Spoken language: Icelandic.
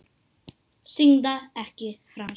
Syndga ekki framar.